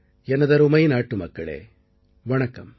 எனதருமை நாட்டு மக்களே வணக்கம்